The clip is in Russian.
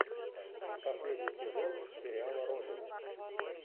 последний сезон сериала родина